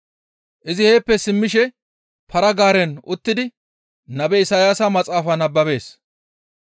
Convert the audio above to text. Izi heeppe simmishe para-gaaren uttidi nabe Isayaasa maxaafa nababees.